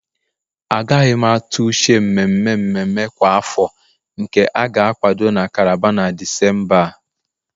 Agaghị m atụ uche mmemme mmemme kwa afọ nke a ga-akwado na Calabar na Disemba a